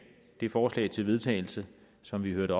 det forslag til vedtagelse som vi hørte